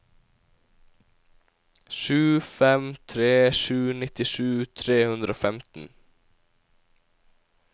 sju fem tre sju nittisju tre hundre og femten